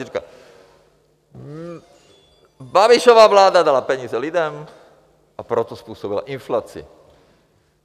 Vy říkáte: Babišova vláda dala peníze lidem, a proto způsobila inflaci.